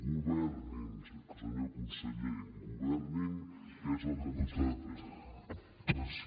governin senyor conseller governin que és el que no estan fent